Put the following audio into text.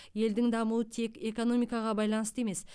елдің дамуы тек экономикаға байланысты емес